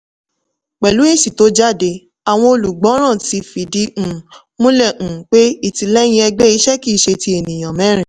pẹ̀lú èsì tó jáde àwọn olùgbọ́ràn ti fìdí um múlè um pé ìtìlẹyìn ẹgbẹ́ iṣẹ́ kì í ṣe ti ènìyàn mẹ́rin.